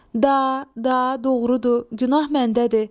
Da, da, doğrudur, günah məndədir.